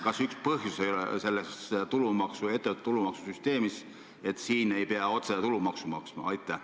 Kas üks põhjus ei ole ettevõtte tulumaksu süsteemis, mille kohaselt siin ei pea otse tulumaksu maksma?